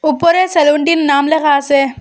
উপরে সেলুনটির নাম লেখা আসে।